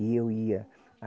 E eu ia.